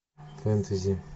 фэнтези